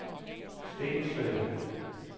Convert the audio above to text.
Stensved